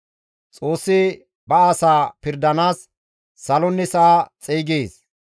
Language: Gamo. Xoossi ba asaa pirdanaas salonne sa7a xeygees.